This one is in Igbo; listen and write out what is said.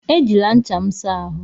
Ejila ncha m a saa ahụ!